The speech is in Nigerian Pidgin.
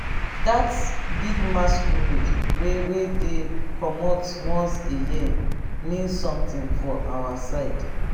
dat big masquerade wey wey dey comot once a year mean something for our side